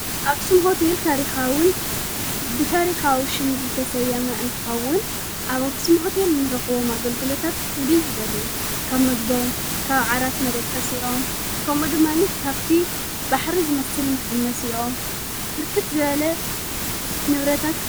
ኣክሱም ሆቴል ታሪኻዉን ብታሪኻዊ ሹም ዝተሰየመ እንትኻውን ኣብ ኣክስም ሆቴል እንረኽቦም ኣገልግሎታት ፍሉይ ዝበልዩ ካብ ምግበኦም ካብ ዓራት መደቀስኢኦም ከምኡድማኒ ካብቲ ባሕሪ ዝመስል መሓመሲኦም ብርክት ዝበለ ነብረታት።